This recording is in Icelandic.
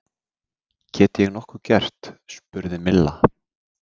Get ég nokkuð gert? spurði Milla.